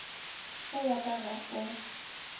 o wa ka ga o